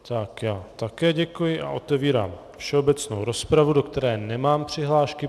Tak já také děkuji a otevírám všeobecnou rozpravu, do které nemám přihlášky.